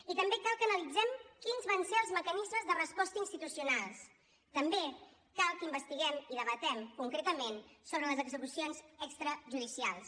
i també cal que analitzem quins van ser els mecanismes de resposta institucionals també cal que investiguem i debatem concretament sobre les execucions extrajudicials